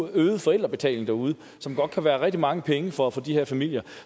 en øget forældrebetaling derude som godt kan være rigtig mange penge for for de her familier